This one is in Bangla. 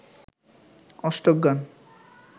অষ্টক গান